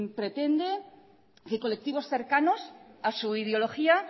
pretende que colectivos cercanos a su ideología